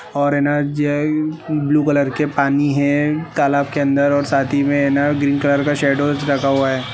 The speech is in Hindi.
और है न जे ब्लू कलर के पानी है तालाब के अंदर और साथ ही मे न ग्रीन कलर का शेडोज रखा हुआ है।